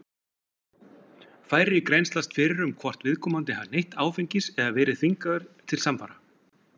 Færri grennslast fyrir um hvort að viðkomandi hafi neytt áfengis eða verið þvingaður til samfara.